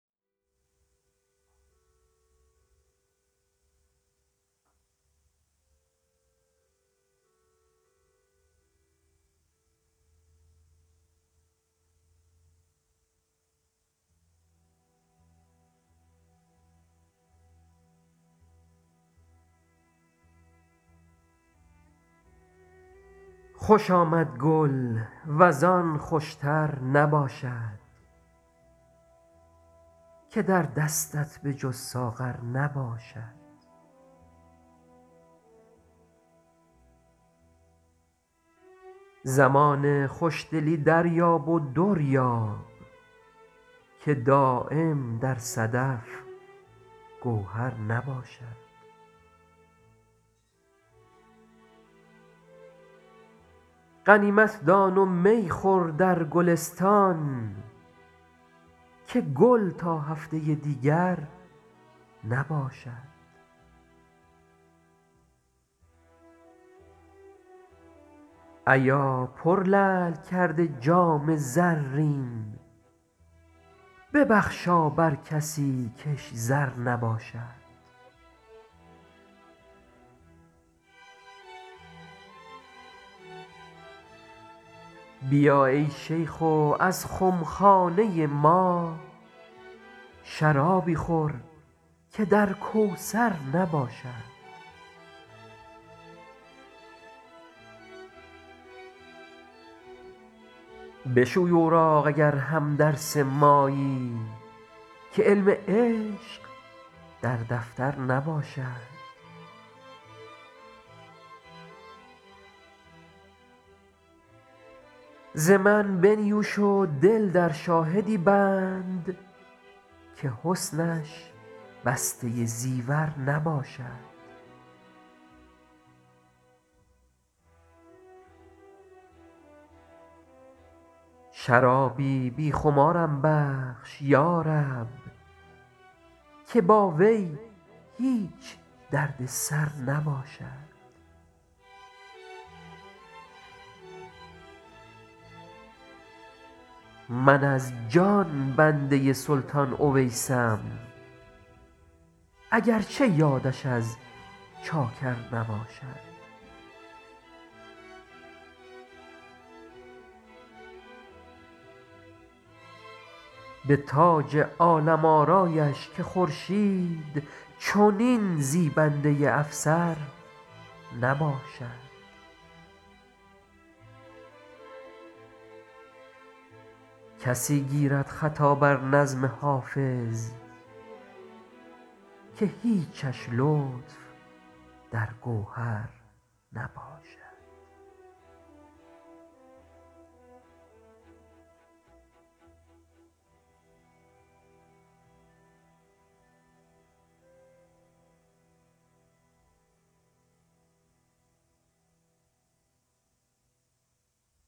خوش آمد گل وز آن خوش تر نباشد که در دستت به جز ساغر نباشد زمان خوش دلی دریاب و در یاب که دایم در صدف گوهر نباشد غنیمت دان و می خور در گلستان که گل تا هفته دیگر نباشد ایا پرلعل کرده جام زرین ببخشا بر کسی کش زر نباشد بیا ای شیخ و از خم خانه ما شرابی خور که در کوثر نباشد بشوی اوراق اگر هم درس مایی که علم عشق در دفتر نباشد ز من بنیوش و دل در شاهدی بند که حسنش بسته زیور نباشد شرابی بی خمارم بخش یا رب که با وی هیچ درد سر نباشد من از جان بنده سلطان اویسم اگر چه یادش از چاکر نباشد به تاج عالم آرایش که خورشید چنین زیبنده افسر نباشد کسی گیرد خطا بر نظم حافظ که هیچش لطف در گوهر نباشد